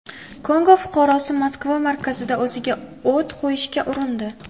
Kongo fuqarosi Moskva markazida o‘ziga o‘t qo‘yishga urindi.